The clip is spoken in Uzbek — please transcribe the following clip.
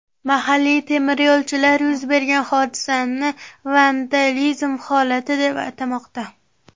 Mahalliy temiryo‘lchilar yuz bergan hodisani vandalizm holati deb atamoqda.